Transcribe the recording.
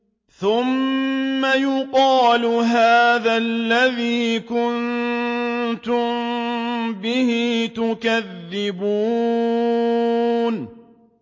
ثُمَّ يُقَالُ هَٰذَا الَّذِي كُنتُم بِهِ تُكَذِّبُونَ